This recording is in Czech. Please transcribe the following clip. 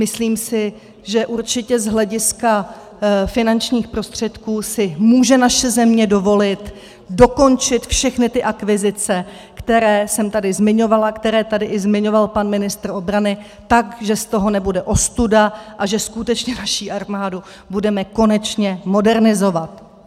Myslím si, že určitě z hlediska finančních prostředků si může naše země dovolit dokončit všechny ty akvizice, které jsem tady zmiňovala, které tady i zmiňoval pan ministr obrany, tak, že z toho nebude ostuda a že skutečně naši armádu budeme konečně modernizovat.